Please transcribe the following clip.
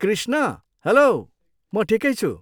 Krishna, hello. म ठिकै छु।